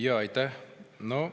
Jaa, aitäh!